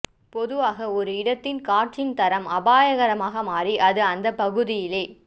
பொதுவாக ஒரு இடத்தின் காற்றின் தரம் அபாயகரமாக மாறி அது அந்த பகுதியிலே